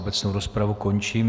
Obecnou rozpravu končím.